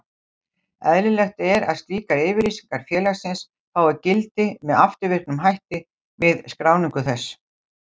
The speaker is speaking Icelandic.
Eðlilegt er að slíkar yfirlýsingar félagsins fái gildi með afturvirkum hætti við skráningu þess.